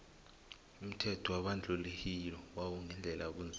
umthetho webandluhilo wawu gandelela abonzima